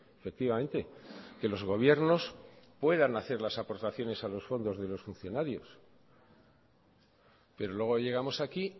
efectivamente que los gobiernos puedan hacer las aportaciones a los fondos de los funcionarios pero luego llegamos aquí